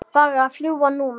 Farðu að fljúga, núna